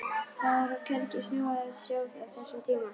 Það var hvergi snjó að sjá á þessum tíma.